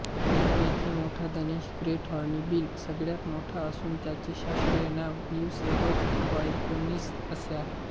यांपैकी मोठा धनेश ग्रेट हॉर्नबिल सगळ्यात मोठा असून त्याचे शास्त्रीय नाव ब्यूसेरॉस बायकॉर्निस असे आहे